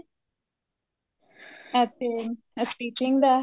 ਇੱਥੇ stitching ਦਾ